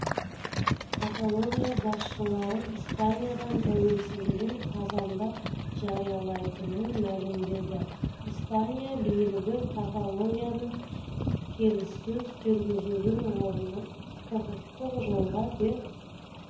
каталония басшылары испаниядан тәуелсіздігін қазанда жариялайтынын мәлімдеді испания билігі каталонияны келіссөз жүргізудің орнына құқықтық жолға түсуге